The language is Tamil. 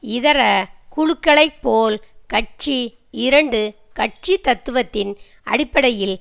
இதர குழுக்களைப் போல் கட்சி இரண்டு கட்சி தத்துவத்தின் அடிப்படையில்